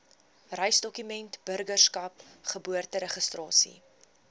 reisdokumente burgerskap geboorteregistrasie